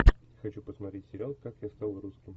хочу посмотреть сериал как я стал русским